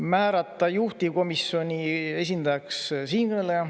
Määrata juhtivkomisjoni esindajaks siinkõneleja.